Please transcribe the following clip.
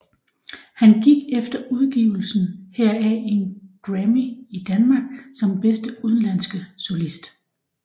Han fik efter udgivelsen heraf en grammy i Danmark som bedste udenlandske solist